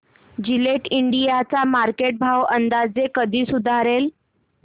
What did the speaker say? Gillette India चा market भाव अंदाजे कधी सुधारेल